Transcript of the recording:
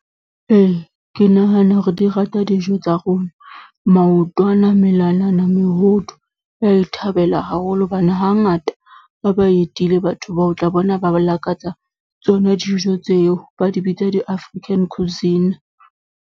Ee, ke nahana hore di rata dijo tsa rona maotwana, melalana, mehodu. Ba e thabela haholo hobane hangata, ha ba etile batho bao o tla bona ba lakatsa tsona dijo tseo, ba di bitsa di-African cuisine.